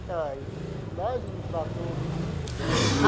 Sabe lá eles me tratou muito bem.